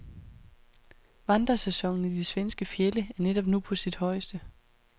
Vandrersæsonen i de svenske fjelde er netop nu på sit højeste.